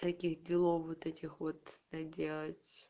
таких делов вот этих вот доделать